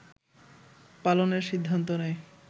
পালনের সিদ্ধান্ত নেয়